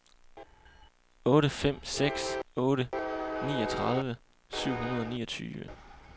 otte fem seks otte niogtredive syv hundrede og niogtyve